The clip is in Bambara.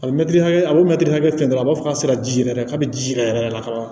A bɛ mɛtiri hakɛ a bɛ mɛtiri hakɛ sɔrɔ a b'a fɔ k'a sera jija yɛrɛ k'a bɛ ji jigin yɛrɛ yɛrɛ de la ka taga